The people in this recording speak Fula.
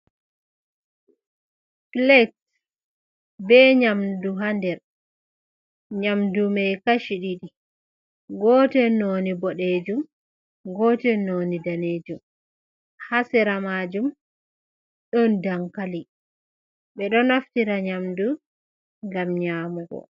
Plat be nyamdu ha nder nyamdu man kashi ɗiɗi gotel noni boɗɗejum, gotel noni danejum ha sira majum ɗon dankali ɓe ɗo naftira nyamdu gam nyamugo.